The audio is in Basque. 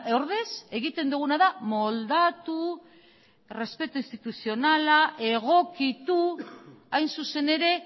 ordez egiten duguna da moldatu errespetu instituzionala egokitu hain zuzen ere